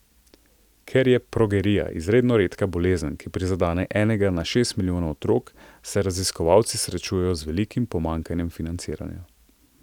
Ker je progerija izredno redka bolezen, ki prizadene enega na šest milijonov otrok, se raziskovalci srečujejo z velikim pomanjkanjem financiranja.